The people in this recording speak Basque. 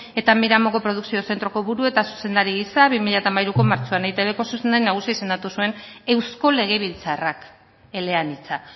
eta miramongo produkzio zentroko buru eta zuzendari gisa bi mila hamairuko martxoan eitbko zuzendari nagusi izendatu zuen eusko legebiltzarrak eleanitza